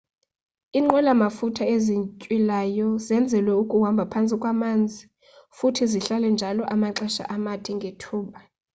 iinqwela mafutha ezintywilayo zenzelwe ukuhambha phantsi kwamanzi futhi zihlale njalo amaxesha amade ngethuba